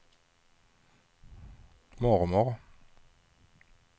mormor